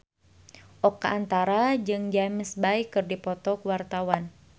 Oka Antara jeung James Bay keur dipoto ku wartawan